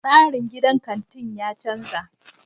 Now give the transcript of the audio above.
Tsarin gidan kantin ya canza.